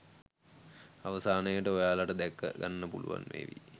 අවසානයට ඔයාලට දැක ගන්න පුළුවන් වේවි